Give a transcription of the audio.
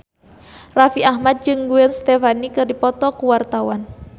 Raffi Ahmad jeung Gwen Stefani keur dipoto ku wartawan